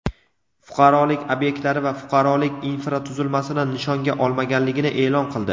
fuqarolik ob’ektlari va fuqarolik infratuzilmasini nishonga olmaganligini e’lon qildi.